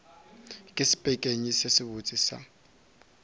ke sepekenyi se sebotse sa